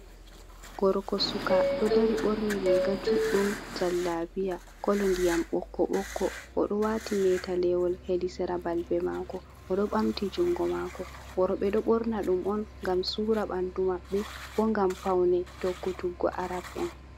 Gorko suka ɗo dari, ɓorni riga judɗum jallabia kolo ndiyam ɓokko ɓokko. Oɗo wati metalewol hedi Sera balbe mako oɗo ɓamti jungo mako. Worɓe ɗo ɓorna ɗum on ngam sura ɓandu mabɓe, bo ngam paune tokkutuggo arab'en.